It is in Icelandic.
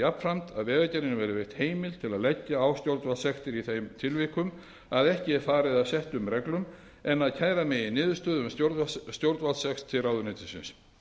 jafnframt að vegagerðinni verði veitt heimild til að leggja á stjórnvaldssektir í þeim tilvikum sem ekki er farið að settum reglum en að kæra megi niðurstöðu um stjórnvaldssekt til ráðuneytisins